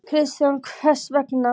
Kristján: Hvers vegna?